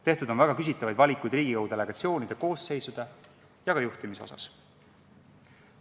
Tehtud on väga küsitavaid valikuid Riigikogu delegatsioonide koosseisude ja juhtimise osas.